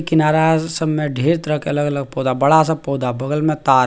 किनारा अर सब में ढेर तरह के अलग-अलग पौधा बड़ा-सा पौधा बगल में तार।